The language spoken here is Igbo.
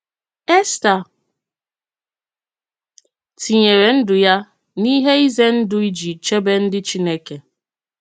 Èstà tinyèrè ndụ ya n’ihe ize ndụ iji chèbè ndị Chineke.